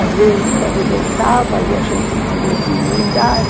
Às vezes arrebentava e a gente tinha que emendar.